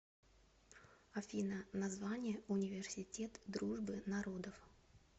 афина название университет дружбы народов